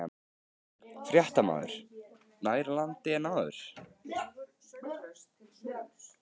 Fréttamaður: Nær landi en áður?